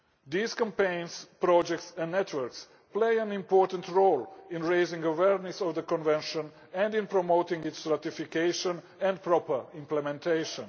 These campaigns, projects and networks play an important role in raising awareness of the Convention and in promoting its ratification and proper implementation.